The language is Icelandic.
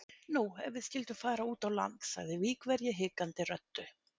Nú, ef við skyldum fara út á land? sagði Víkverji hikandi röddu.